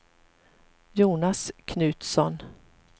Jonas Knutsson